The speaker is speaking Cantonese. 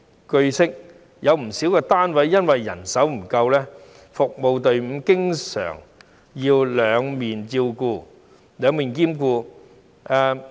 據悉，有不少單位由於人手不足，服務隊伍經常要兩面兼顧。